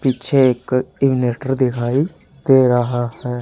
पीछे एक इवनेटर दिखाई दे रहा है।